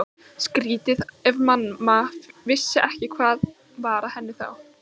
Skrýtið ef mamma vissi ekki hvað var að henni þá.